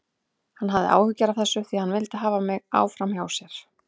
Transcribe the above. Hann hafði áhyggjur af þessu því hann vildi hafa mig áfram hjá sér.